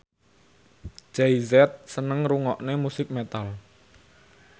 Jay Z seneng ngrungokne musik metal